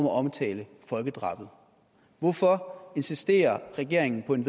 at omtale folkedrabet hvorfor insisterer regeringen på et